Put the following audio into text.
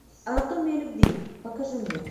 анатомия любви покажи мне